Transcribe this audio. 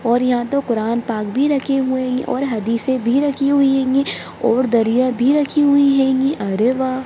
और यहाँ तो कुरान पाक भी रखे हुए हैंगे और हदीसें भी रखी हुई हैंगी और दरियाँ भी रखी हुई हैंगी अरे वाह !